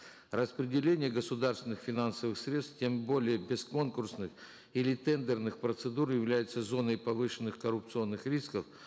распределение государственных финансовых средств тем более без конкурсных или тендерных процедур является зоной повышенных коррупционных рисков